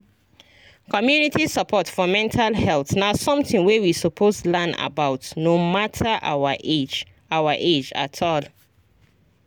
community support for mental health na something wey we suppose learn about no matter our age our age at all